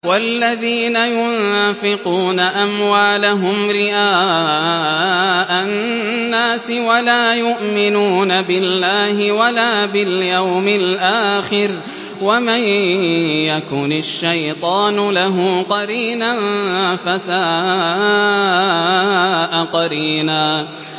وَالَّذِينَ يُنفِقُونَ أَمْوَالَهُمْ رِئَاءَ النَّاسِ وَلَا يُؤْمِنُونَ بِاللَّهِ وَلَا بِالْيَوْمِ الْآخِرِ ۗ وَمَن يَكُنِ الشَّيْطَانُ لَهُ قَرِينًا فَسَاءَ قَرِينًا